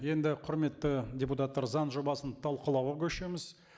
енді құрметті депутаттар заң жобасын талқылауға көшеміз